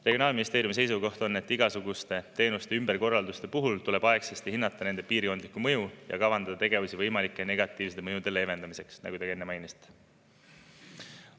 Regionaalministeeriumi seisukoht on, et igasuguste teenuste ümberkorralduste puhul tuleb aegsasti hinnata nende piirkondliku mõju ja kavandada tegevusi võimalike negatiivsete mõjude leevendamiseks, nagu te ka enne mainisite.